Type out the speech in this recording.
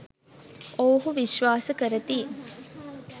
ඔවුහු විශ්වාස කරති.